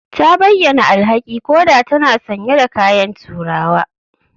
Ta bayyana alhaki koda tana sanye da kayan turawa